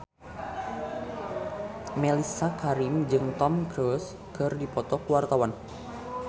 Mellisa Karim jeung Tom Cruise keur dipoto ku wartawan